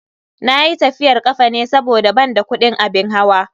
Nayi tafiyar kafa ne saboda ban da kudin abin hawa.